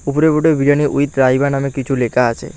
ওপরের বোর্ডে বিরিয়ানি উইথ রাইবা নামে কিছু লেখা আছে।